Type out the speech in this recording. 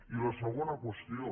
i la segona qüestió